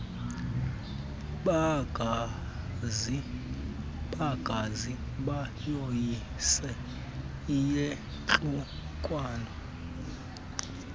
bangaze bayoyise iyantlukwano